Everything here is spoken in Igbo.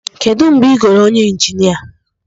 Kedu mgbe ị goro onye injinia?